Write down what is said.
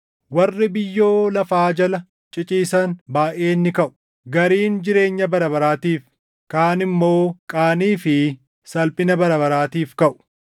Warri biyyoo lafaa jala ciciisan baayʼeen ni kaʼu: Gariin jireenya bara baraatiif, kaan immoo qaanii fi salphina bara baraatiif kaʼu.